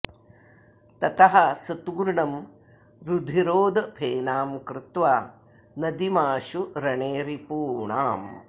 ततः स तूर्णं रुधिरोदफेनां कृत्वा नदीमाशु रणे रिपूणाम्